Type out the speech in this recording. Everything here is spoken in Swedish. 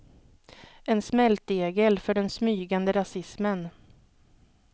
En smältdegel för den smygande rasismen.